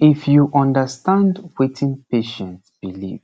if you understand wetin patient believe